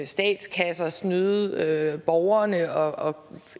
statskasser snyde borgerne og